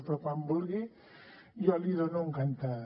però quan vulgui jo l’hi dono encantada